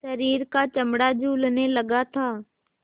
शरीर का चमड़ा झूलने लगा था